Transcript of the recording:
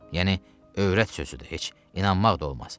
Yəni övrət sözüdür, heç inanmaq da olmaz.